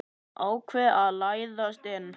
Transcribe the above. Ákvað að læðast inn.